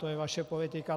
To je vaše politika.